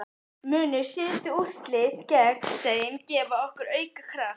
Munu síðustu úrslit gegn þeim gefa okkur auka kraft?